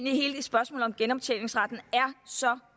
hele spørgsmålet om genoptjeningsretten er så